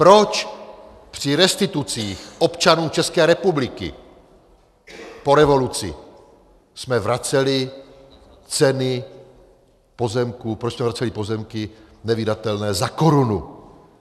Proč při restitucích občanů České republiky po revoluci jsme vraceli ceny pozemků, proč jsme vraceli pozemky nevydatelné za korunu?